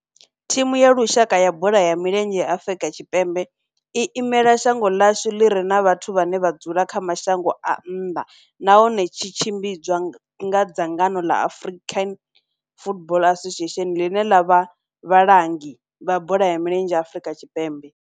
Thimu ya lushaka ya bola ya milenzhe ya Afrika Tshipembe i imela shango ḽa hashu ḽi re na vhathu vhane vha dzula kha mashango a nnḓa nahone tshi tshimbidzwa nga dzangano la South African Football Association, line la vha vhalangi vha bola ya milenzhe Afrika Tshipembe.